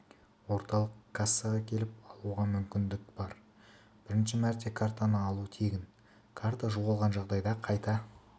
орталық кассаға келіп алуға мүмкіндік бар бірінші мәрте картаны алу тегін карта жоғалған жағдайда қайта